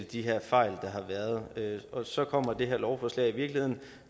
de her fejl der har været og så kommer det her lovforslag i virkeligheden